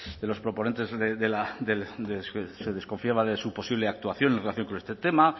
de los proponentes de se desconfiaba de su posible actuación en relación con este tema